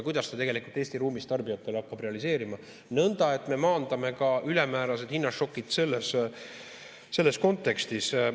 Kuidas ta tegelikult Eesti ruumis tarbijatele hakkab realiseeruma, nõnda et me maandame ka ülemäärased hinnašokid selles kontekstis?